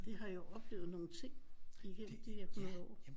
Det har jo oplevet nogle ting igennem igennem de der hundrede år